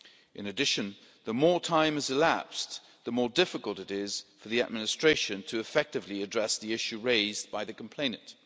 In addition, the more time that has elapsed, the more difficult it is for the administration to effectively address the issue raised by the complainant.